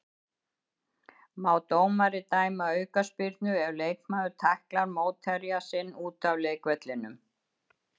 Má dómari dæma aukaspyrnu ef leikmaður tæklar mótherja sinn út af leikvellinum?